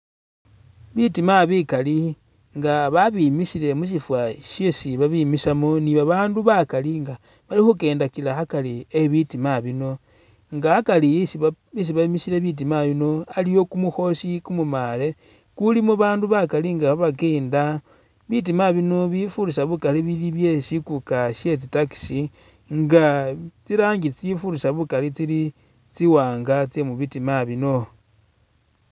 Bitima bikali nga babimisile musiifa shesi babimisamo ni'babandu bakaali nga balikhukenda kila akari ebitima bino nga akari isi isi bemisile bitima bino aliwo kumukhosi kumumale kulimo bandu bakali nga khabakenda bitima bino bifurisa bukaali bili byesikuka shetsi taxi nga tsirangi tsifurisa bukaali tsili tsi'wanga tsemubitima bino